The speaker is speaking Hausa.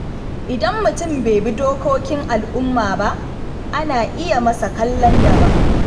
Idan mutum bai bi dokokin al’umma ba, ana iya masa kallon daban.